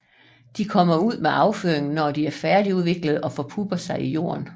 De kommer ud med afføringen når de er færdigudviklede og forpupper sig i jorden